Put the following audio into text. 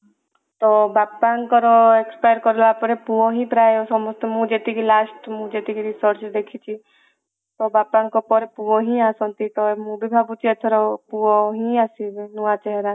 ତ ବାପାଙ୍କର expire କଲାପରେ ପୁଅ ହିଁ ପ୍ରାୟ ସମସ୍ତେ ମୁଁ ଯେତିକି last ମୁଁ ଯେତିକି research ରେ ଦେଖିଛି ତ ବାପା ଙ୍କ ପରେ ପୁଅ ହିଁ ଆସନ୍ତି ତ ମୁଁ ବି ଭାବୁଛି ପୁଅ ହିଁ ଆସିବେ ନୂଆ ଚେହେରା